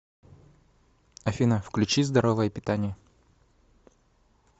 афина включи здоровое питание